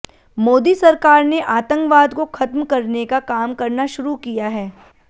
मोदी सरकार ने आतंकवाद को खत्म करने का काम करना शुरू किया है